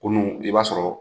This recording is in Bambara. Kunun i b'a sɔrɔ